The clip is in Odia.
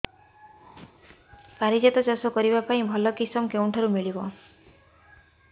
ପାରିଜାତ ଚାଷ କରିବା ପାଇଁ ଭଲ କିଶମ କେଉଁଠାରୁ ମିଳିବ